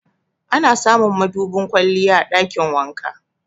Ana samun madubin kwalliya a ɗakin wanka.